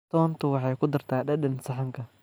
Toonta waxay ku dartaa dhadhan saxanka.